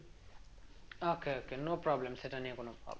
Okay okay no problem সেটা নিয়ে কোনো problem নেই